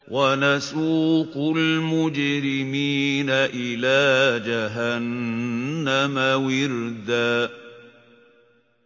وَنَسُوقُ الْمُجْرِمِينَ إِلَىٰ جَهَنَّمَ وِرْدًا